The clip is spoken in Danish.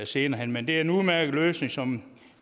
senere hen men det er en udmærket løsning som